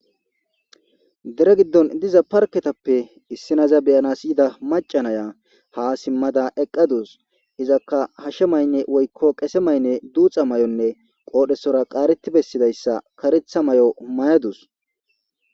Deere giddon diiza parkketappe issinoza be'anas yiida macca naiya ha simmada eqqadusu izzakka hashshe maaynne woykko qeesse maynne duuxa mayonne qodhdhesora qaareti bessidayssa kareththa mayo mayadusu.